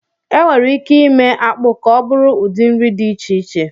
E nwèrè ìké ímé ákpụ ka ọ bụrụ ụdị nri dị iche iche